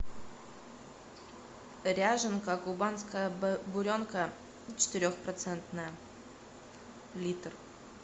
ряженка кубанская буренка четырехпроцентная литр